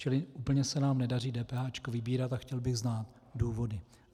Čili úplně se nám nedaří DPH vybírat a chtěl bych znát důvody.